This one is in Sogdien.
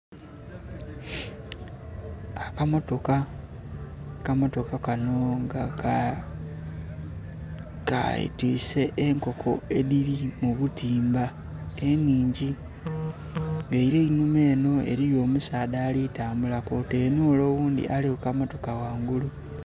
Akamotoka, akamotoka kano nga ketise enkoko edhiri mubutimba enhingi era einhuma eno eriyo omusaadha alitambula kwotaire n'ole oghundhi ali kukamotoka ghangulu.